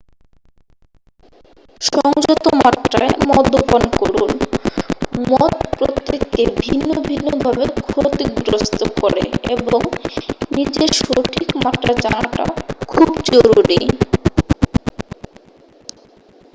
সংযত মাত্রায় মদ্যপান করুন মদ প্রত্যেককে ভিন্ন ভিন্ন ভাবে ক্ষতিগ্রস্ত করে এবং নিজের সঠিক মাত্রা জানাটা খুব জরুরি